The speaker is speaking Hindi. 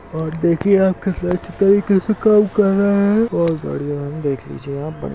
और देखिये न कैसे चित्र कैसे काम कर रहे है बहुत बढ़िया देख लीजिए आप-- ।